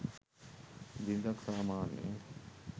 බිරිඳක් සාමාන්‍යයෙන්